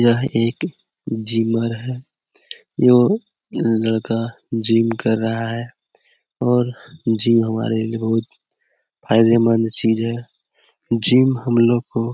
यह एक जिमर है यो लड़का जिम कर रहा है और जिम हमारे लिए बहुत फायदेमंद चीज है जिम हमलोग को --